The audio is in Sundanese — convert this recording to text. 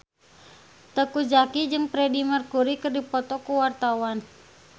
Teuku Zacky jeung Freedie Mercury keur dipoto ku wartawan